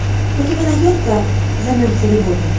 у тебя найдется займемся любовью